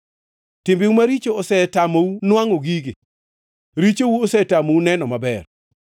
Timbeu maricho osetamou nwangʼo gigi; richou osetamou neno maber.